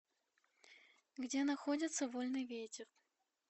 где находится вольный ветер